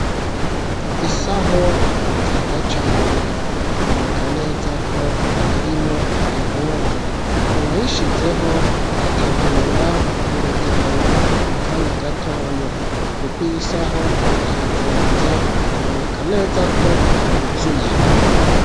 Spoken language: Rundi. Isaho nziza cane, iboneka neza ko, irimwo impuzu, uwayishizeho, ategura urugendo mu kanya gatonya, kuko iyi isaho, irapfunze, biboneka neza ko, yuzuye.